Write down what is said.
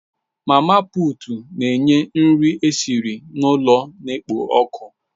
Mama putu n'nye nri esiri n'ụlọ na-ekpo ọkụ